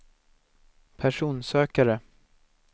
personsökare